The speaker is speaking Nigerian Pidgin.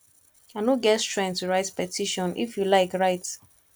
i no get strength to write petition if you like write